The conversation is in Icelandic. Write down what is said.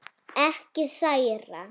Ekki særa.